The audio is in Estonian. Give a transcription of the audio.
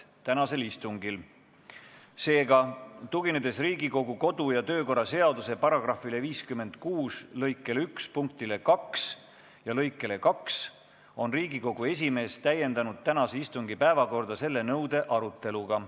Seega, tuginedes Riigikogu kodu- ja töökorra seaduse § 56 lõike 1 punktile 2 ja lõikele 2, on Riigikogu esimees täiendanud tänase istungi päevakorda selle nõude aruteluga.